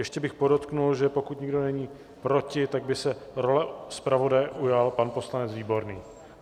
Ještě bych podotkl, že pokud nikdo není proti, tak by se role zpravodaje ujal pan poslanec Výborný.